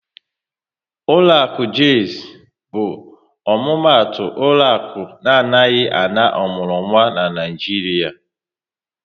Ụlọakụ Jaiz bụ omumatu ụlọaku na anaghị ana ọmụrụnwa n'Naijiria